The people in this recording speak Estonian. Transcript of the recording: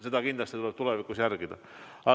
Seda kindlasti tuleb tulevikus järgida.